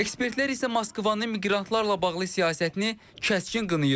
Ekspertlər isə Moskvanın miqrantlarla bağlı siyasətini kəskin qınayır.